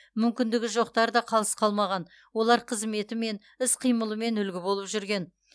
мүмкіндігі жоқтар да қалыс қалмаған олар қызметімен іс қимылымен үлгі болып жүрген